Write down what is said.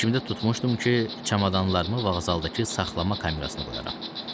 Fikrimdə tutmuşdum ki, çamadanlarımı vağzaldakı saxlama kamerasına qoyacam.